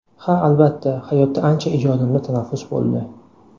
Ha albatta, hayotda ancha ijodimda tanaffus bo‘ldi.